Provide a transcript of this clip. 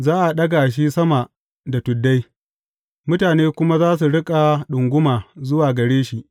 Za a ɗaga shi sama da tuddai, mutane kuma za su riƙa ɗunguma zuwa gare shi.